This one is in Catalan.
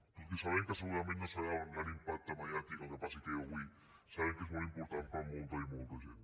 tot i que sabem que segurament no serà d’un gran impacte mediàtic el que passi aquí avui sabem que és molt important per a molta i molta gent